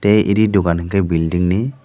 a edi dogan hingke bilding in.